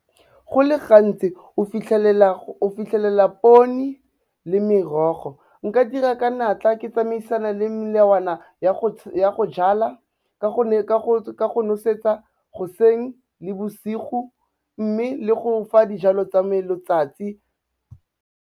Go le gantsi o fitlhelela poni le merogo, nka dira ka natla, ke tsamaisana le melawana ya go jala ka go nosetsa goseng le bosigo, mme le go fa dijalo tsa me letsatsi.